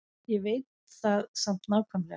Ég veit það samt nákvæmlega.